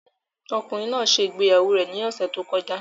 Ọkùnrin náà ṣe ìgbéyàwó rẹ̀ ní ọ̀sẹ̀ tó kọjá